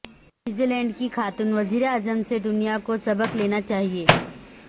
New Zealand کی خاتون وزیراعظم سے دنیا کو سبق لینا چاہئے